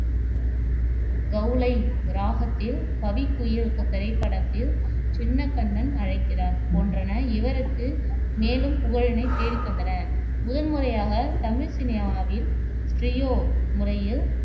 கௌளை ராகத்தில் கவிக்குயில் திரைப்படத்தில் சின்னக் கண்ணன் அழைக்கிறான் போன்றன இவருக்கு மேலும் புகழினைத் தேடித்தந்தன முதன் முறையாகத் தமிழ் சினிமாவில் ஸ்டீரியோ முறையில்